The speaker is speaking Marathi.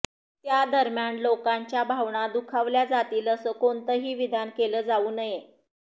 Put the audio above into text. त्या दरम्यान लोकांच्या भावना दुखवल्या जातील असं कोणतंही विधान केलं जाऊ नये